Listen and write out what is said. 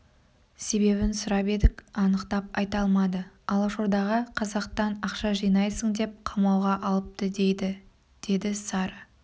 себебін сұрап едік анықтап айта алмады алашордаға қазақтан ақша жинайсың деп қамауға алыпты дейді деді сары